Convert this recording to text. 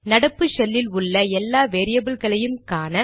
நடப்பு ஷெல்லில் உள்ள எல்லா வேரியபில்களையும் காண